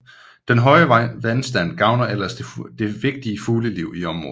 Den høje vandstand gavner ellers det vigtige fugleliv i området